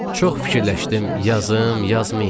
Çox fikirləşdim, yazım, yazmayım.